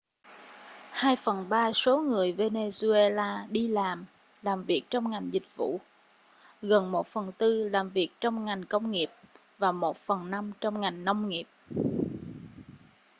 hai phần ba số người venezuela đi làm làm việc trong ngành dịch vụ gần một phần tư làm việc trong ngành công nghiệp và một phần năm trong ngành nông nghiệp